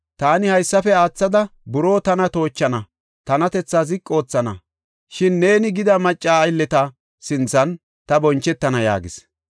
Taani haysafe aathada buroo tana toochana; tanatethaa ziqi oothana. Shin neeni gida macca aylleta sinthan ta bonchetana” yaagis.